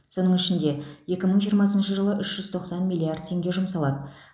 соның ішінде екі мың жиырмасыншы жылы үш жүз тоқсан миллиард теңге жұмсалады